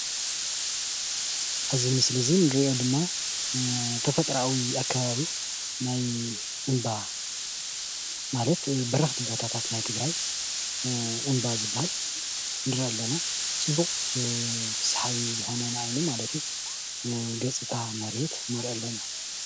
ኣብዚ ምስሊ ንሪኦ ድማ ተፈጥርኣዊ ኣከባቢ ናይ እምባ ማለት በረክቲ ቦታታት ናይ ትግራይ እምባ ዝበሃል ንርኢ ኣለና ።ፅቡቅ ሰሓቢ ዝኮነ ንዓይኒ ገፅታ መሬት ንርኢ ኣለና ።